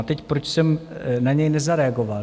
A teď, proč jsem na něj nezareagoval?